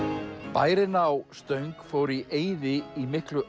bærinn á Stöng fór í eyði í miklu